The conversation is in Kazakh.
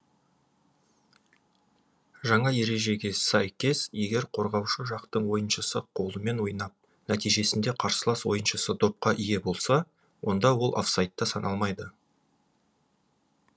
жаңа ережеге сәйкес егер қорғаушы жақтың ойыншысы қолымен ойнап нәтижесінде қарсылас ойыншысы допқа ие болса онда ол офсайдта саналмайды